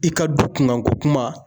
I ka du kunkanko kuma